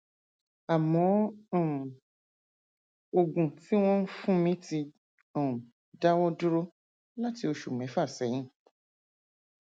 àmọ um oògùn tí wọn ń fún mi ti um dáwọ dúró láti oṣù mẹfà sẹyìn